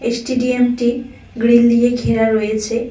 স্টেডিয়ামটি grill দিয়ে ঘেরা রয়েছে।